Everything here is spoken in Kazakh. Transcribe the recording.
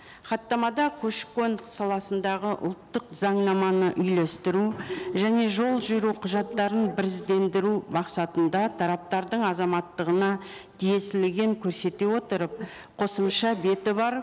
хаттамада көші қон саласындағы ұлттық заңнаманы үйлестіру және жол жүру құжаттарын біріздендіру мақсатында тараптардың азаматтығына тиесілігін көрсете отырып қосымша беті бар